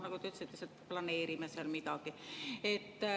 Nagu te ütlesite, me lihtsalt planeerime seal midagi.